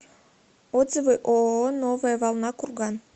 отзывы ооо новая волна курган